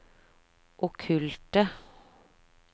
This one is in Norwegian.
okkulte